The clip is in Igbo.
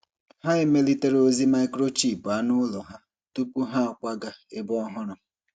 Ha emelitere ozi microchip anụ ụlọ ha tupu ha akwaga ebe ọhụrụ.